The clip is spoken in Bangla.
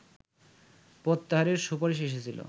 প্রত্যাহারের সুপারিশ এসেছিল